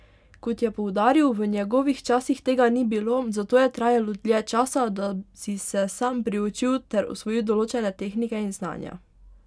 Kot je poudaril, v njegovih časih tega ni bilo, zato je trajalo dlje časa, da si se sam priučil ter osvojil določene tehnike in znanja.